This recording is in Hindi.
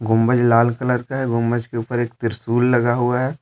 गुंबज लाल कलर का है गुंबज के ऊपर एक त्रिशूल लगा हुआ है।